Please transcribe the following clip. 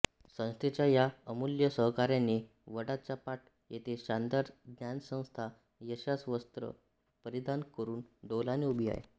संस्थेच्या या अमुल्य सहकार्याने वडाचापाट येथे शानदार ज्ञानसंस्था यशाच वस्त्र परिधान करून डौलाने उभी आहे